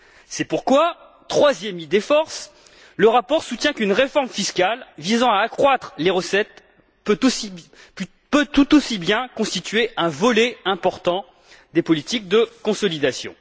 C'est pourquoi, troisième idée force, le rapport soutient qu'une réforme fiscale, visant à accroître les recettes, peut tout aussi bien constituer un volet important des politiques de consolidation.